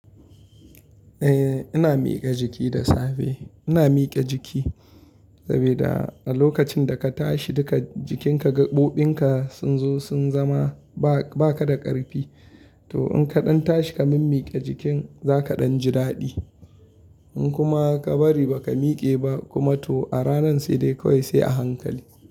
Eh ina miƙa jiki da safe. Ina mike jiki saboda a lokacin da ka tashi duka jikinka gaɓoɓin ka sun zo sun zama ba ka da ƙarfi to in ka ɗan tashi ka min mike jikin za ka ɗan ji daɗi in kuma ka bari ba ka mike ba kuma to a ranan sai dai kawai sai a hankali.